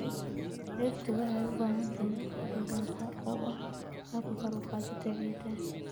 Dhirtu waxay u baahan tahay nafaqo dheeraad ah oo ah qaabka kor u qaadida ciidda.